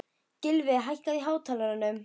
Gylfi, hækkaðu í hátalaranum.